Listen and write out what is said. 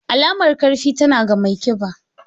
Alamar ƙarfi, tana ga mai ƙiba.